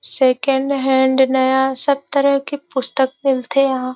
second hand नया सब तरह की पुस्तक मिलथे यहाँ --